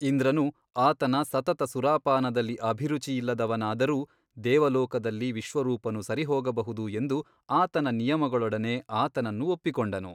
ಇಂದ್ರನು ಆತನ ಸತತ ಸುರಾಪಾನದಲ್ಲಿ ಅಭಿರುಚಿಯಿಲ್ಲದವನಾದರೂ ದೇವಲೋಕದಲ್ಲಿ ವಿಶ್ವರೂಪನು ಸರಿಹೋಗಬಹುದು ಎಂದು ಆತನ ನಿಯಮಗಳೊಡನೆ ಆತನನ್ನು ಒಪ್ಪಿಕೊಂಡನು.